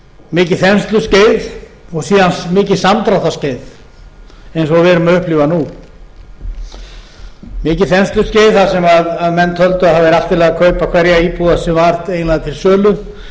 mikið þensluskeið og síðan mikið samdráttarskeið eins og við erum að upplifa nú mikið þensluskeið þar sem menn töldu að það væri allt í ári að kaupa hverja íbúð eiginlega sem var til sölu